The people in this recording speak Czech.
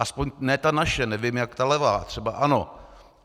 Aspoň ne ta naše, nevím, jak ta levá, třeba ano.